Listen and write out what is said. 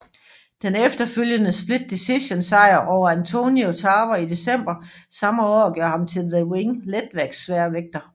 Den efterfølgende split decision sejr over Antonio Tarver i december samme år gjorde ham til The Ring Letsværvægtmester